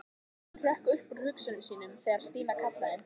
Hann hrökk upp úr hugsunum sínum þegar Stína kallaði.